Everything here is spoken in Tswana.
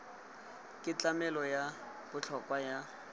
ke tlamelo ya botlhokwa ya